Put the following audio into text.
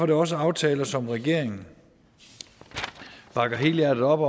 det også aftaler som regeringen bakker helhjertet op